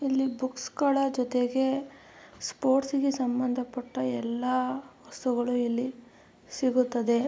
ಇಲ್ಲಿ ಆ ಕಟ್ಟೆ ಗಳಿಗೆ ಕಪ್ಪು ಮತ್ತು ಬಿಳಿಯ ಬಣ್ಣದ --